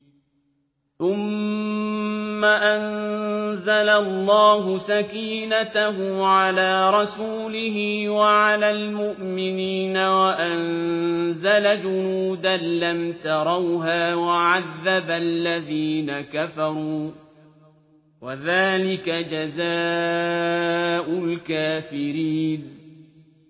ثُمَّ أَنزَلَ اللَّهُ سَكِينَتَهُ عَلَىٰ رَسُولِهِ وَعَلَى الْمُؤْمِنِينَ وَأَنزَلَ جُنُودًا لَّمْ تَرَوْهَا وَعَذَّبَ الَّذِينَ كَفَرُوا ۚ وَذَٰلِكَ جَزَاءُ الْكَافِرِينَ